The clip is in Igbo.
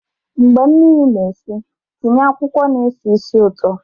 mgbe mmiri na-esi, tinye akwụkwọ na-esi ísì ụtọ